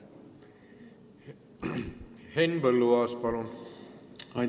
Henn Põlluaas, palun!